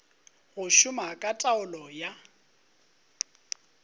go šoma ka taolo ya